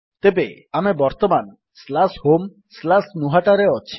ତେବେ ଆମେ ବର୍ତ୍ତମାନ homegnuhataରେ ଅଛେ